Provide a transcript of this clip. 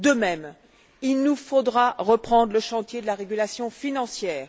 De même, il nous faudra reprendre le chantier de la régulation financière.